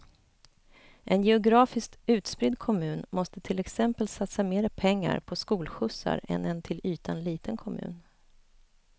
En geografiskt utspridd kommun måste till exempel satsa mer pengar på skolskjutsar än en till ytan liten kommun.